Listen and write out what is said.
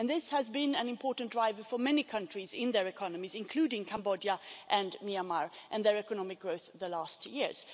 This has been an important driver for many countries in their economies, including Cambodia and Myanmar, and their economic growth over the last years.